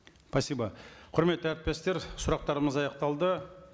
спасибо құрметті әріптестер сұрақтарымыз аяқталды